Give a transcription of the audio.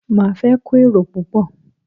Máa fẹ́ kó èrò púpọ̀.